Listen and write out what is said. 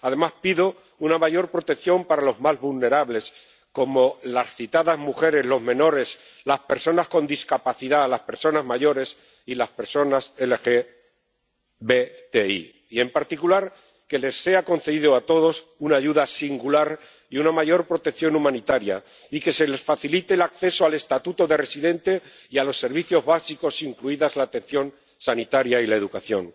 Además, pido una mayor protección para los más vulnerables, como las citadas mujeres, los menores, las personas con discapacidad, las personas mayores y las personas LGBTI, y, en particular, que se les conceda a todos una ayuda singular y una mayor protección humanitaria y que se les facilite el acceso al estatuto de residente y a los servicios básicos, incluidas la atención sanitaria y la educación.